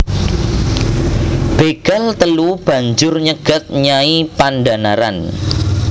Bégal telu banjur nyegat Nyai Pandhanaran